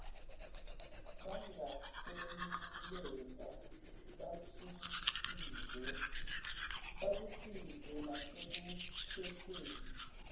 bangakweluleka bakusize nasekukhetheni